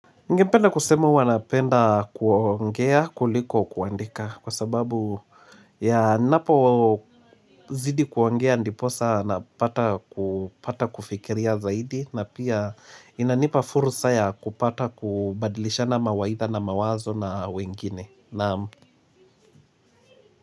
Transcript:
Ningependa kusema huwa napenda kuongea kuliko kuandika kwa sababu ninapo zidi kuongea ndiposa napata kupata kufikiria zaidi na pia inanipa fursa ya kupata kubadilishana mawaidha na mawazo na wengine naam.